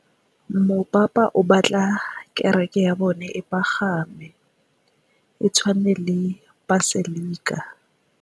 Mopapa o batla kereke ya bone e pagame, e tshwane le paselika.